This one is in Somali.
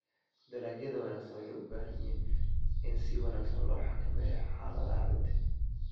Dalagyada wanaagsan waxay u baahan yihiin in si wanaagsan loo xakameeyo xaaladaha ciidda.